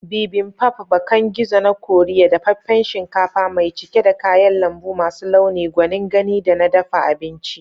Bibimbap, bakan gizo na Koriya, dafaffen shinkafa mai cike da kayan lambu masu launi, gwanin gani da na dafa abinci.